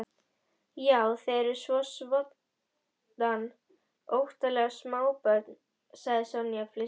Já, þið eruð svoddan óttaleg smábörn sagði Sonja flissandi.